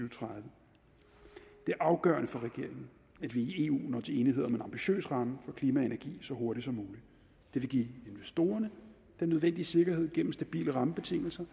og tredive det er afgørende for regeringen at vi i eu når til enighed om en ambitiøs ramme for klima og energi så hurtigt som muligt det vil give investorerne den nødvendige sikkerhed gennem stabile rammebetingelser